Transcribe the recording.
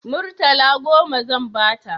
Murtala goma zan ba ta